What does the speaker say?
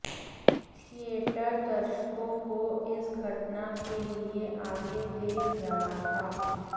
theatre दर्शकों को इस घटना के लिए आगे देख रहा था